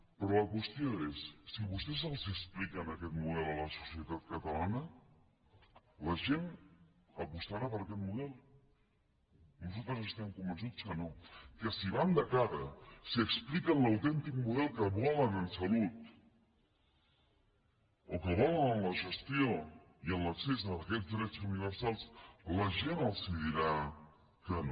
però la qüestió és si vostès expliquen aquest model a la societat catalana la gent apostarà per aquest model nosaltres estem convençuts que no que si van de cara si expliquen l’autèntic model que volen en salut o que volen en la gestió i en l’accés a aquests drets universals la gent els dirà que no